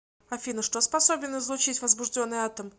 афина что способен излучить возбужденный атом